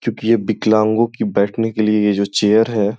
क्यूंकि ये विकलांगो की बैठने के लिए ये जो चेयर है --